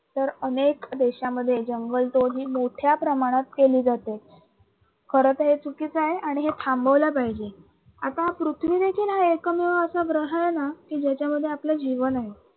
तर अनेक देशामध्ये जंगल तोड ही मोठ्या प्रमाणात केली जाते. खर तर हे चुकीचं आहे आणि हे थांबवल पाहिजे आता पृथ्वी देखील हा एकमेव असा ग्रह आहे ना की ज्याच्यामध्ये आपल जीवन आहे.